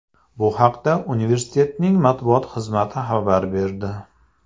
Bu haqda universitetning matbuot xizmati xabar berdi .